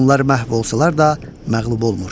Onlar məhv olsalar da, məğlub olmur.